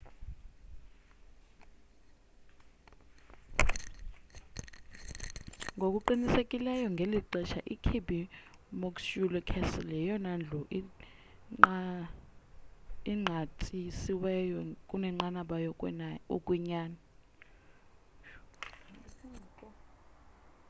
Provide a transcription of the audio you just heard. ngokuqhelekileyo ngeli xesha ikirby muxloe castle yeyona ndlu inqatyisiweyo kunenqaba yokwenyani